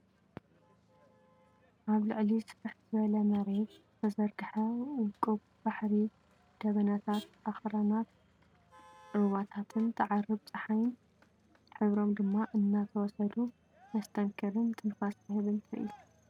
ኣብ ልዕሊ ስፍሕ ዝበለ መሬት ዝተዘርግሐ ውቁብ ባሕሪ ደበናታት፡ ኣኽራንን ሩባታትን ትዓርብ ጸሓይን ሕብሮም ድማ እናተወሰዱ፡ መስተንክርን ትንፋስ ዝህብን ትርኢት!